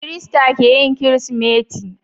Kirista keyin kirismeti